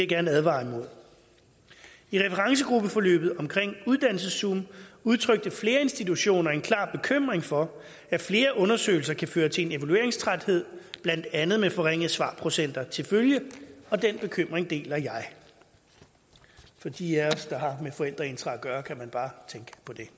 gerne advare imod i referencegruppeforløbet omkring uddannelseszoom udtrykte flere institutioner en klar bekymring for at flere undersøgelser kan føre til en evalueringstræthed blandt andet med forringet svarprocenter til følge og den bekymring deler jeg og for de af os der har med forældreintra at gøre kan man bare tænke på det